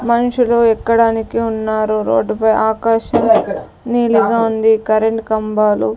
మనుషులు ఎక్కడానికి ఉన్నారు రోడ్డు పై ఆకాశం నీలిగా ఉంది కరెంటు కంభాలు--